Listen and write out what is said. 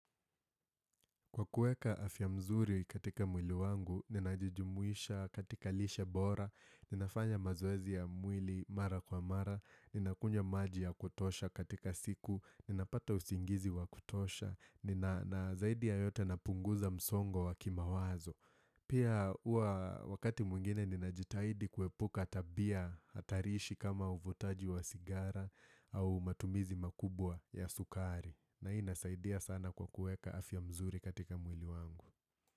Kwa kuweka afya mzuri katika mwili wangu, ninajijumuisha katika lishe bora, ninafanya mazoezi ya mwili mara kwa mara, ninakunywa maji ya kutosha katika siku, ninapata usingizi wa kutosha, nina na zaidi ya yote napunguza msongo wa kimawazo. Pia huwa wakati mwingine ninajitahidi kuepuka tabia hatarishi kama uvutaji wa sigara, au matumizi makubwa ya sukari. Na hii inasaidia sana kwa kuweka afya mzuri katika mwili wangu.